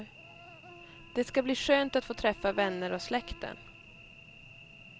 Det ska bli skönt att få träffa vänner och släkten.